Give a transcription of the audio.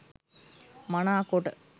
මනාකොට